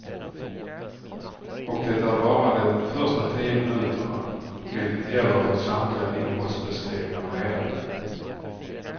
Och det är bara de första tio minuterna, vilket gäller för samtliga innehållsbeskrivningar nedan.